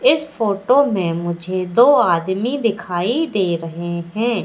इस फोटो में मुझे दो आदमी दिखाई दे रहे हैं।